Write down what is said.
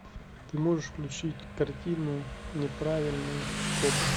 ты можешь включить картину неправильные копы